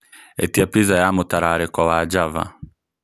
ĩĩtia pizza ya mũtararĩko wa Java